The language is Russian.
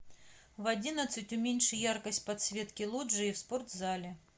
в одиннадцать уменьши яркость подсветки лоджии в спортзале